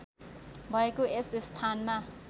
भएको र यस स्थानमा